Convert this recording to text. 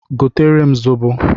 Gotere m zobo!